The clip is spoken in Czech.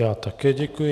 Já také děkuji.